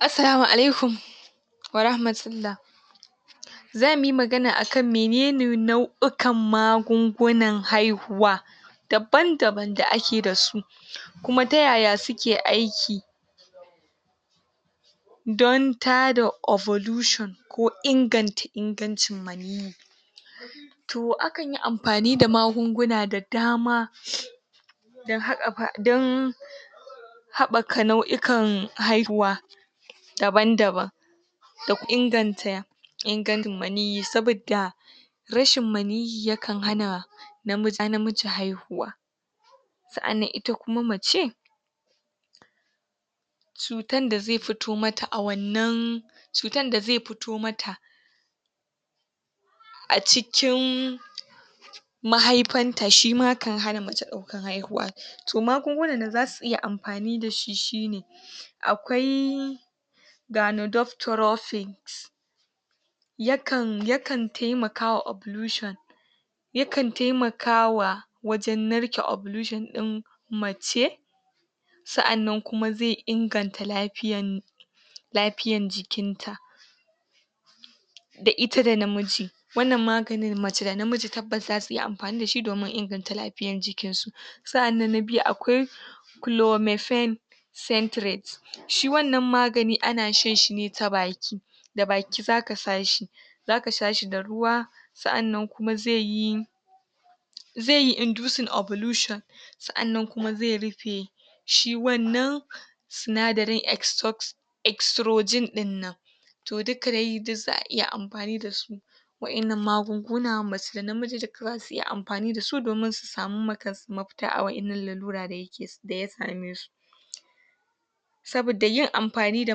Assalamu alaikum wa rahmatullah. Zamuyi magana akan menene nau'ikan magungunan haihuwa daban-daban da ake dasu kuma ta yaya suke aiki dan tada ovalusion ko inganta ingancin maniyi. To akanyi amfani da magunguna da dama dan hakkafa dan haɓɓaka nau'ikan haihuwa daban-daban da inganta ingancin maniyyi saboda rashin maniyyi yakan hana namiji haihuwa. Sa'annan ita kuma mace, cutan da zai fito mata a wannan cutan da zai fito mata a cikin mahaifan ta shima kan hana mace ɗaukan haihuwa to magungunan da zasu iya amfani dashi shine akwai danadoctorophyl yakan yakan taimakawa ovalusion yakan taimakawa wajen narke ovalusion ɗin mace sa'annan kuma zai inganta lafiyan lafiyan jikin ta. da ita da namiji wannan maganin mace da namiji tabbas zasu iya amfani dashi domin inganta lafiyan jikin su. sa'annan na biyu akwai chlomefem centrate shi wannan magani ana shan shine ta baki da baki zaka sha shi zaka sha shi da ruwa sa'annan kuma zaiyi zaiyi indusing ovalusion sa'annan kuma zai rufe shi wannan sinadarin extox extrogen dinnan. To duka dai suk za'a iya amfani dasu wa'innan magunguna mace da namiji duka zasu iya amfani dasu domin su saman ma kansu mafita a wa'innan lalura da da ya same su. Saboda yin amfani da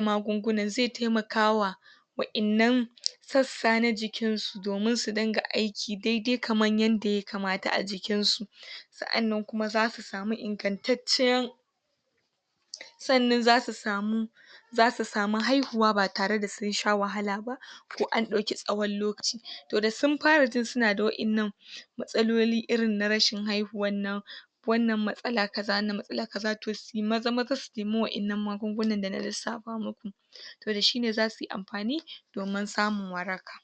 magungunan zai taimaka wa wa'innan sassa na jikin su domin su dinga aiki daidai kaman yanda ya kamata a jikin su. Sa'annan kuma zasu sama ingantaccen sannan zasu samu zasu samu haihuwa ba tare da sun sha wahala ba. to an ɗauki tsawon lokaci to da sun fara jin sunada wa'innan matsaloli irin na rashin haihuwan nan wannan matsala kaza wannan matsala kaza to suyi maza-maza su nema wa'innan magungunan da na lissafa maku to dashi ne zasuyi amfani domin samun waraka.